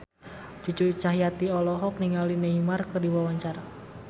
Cucu Cahyati olohok ningali Neymar keur diwawancara